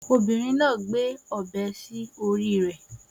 Obìnrin náà ń gbé ọ̀bẹ sí orí rẹ̀